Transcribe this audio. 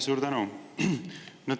Suur tänu!